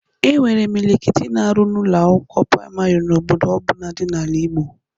E nwere imilikiti na-arụ n'Ụlọ akwụkwọ praịmarị n'obodo ọbụna dị n'ala Igbo